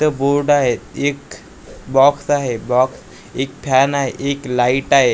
इथं बोर्ड आहे एक बॉक्स आहे बॉक्स एक फॅन आहे एक लाईट आहे ए--